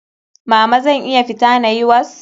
Mama zan iya fita na yi was?